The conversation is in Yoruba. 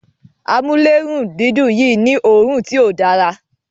Amulerundidun Yi ni òòrùn tí ọ Dára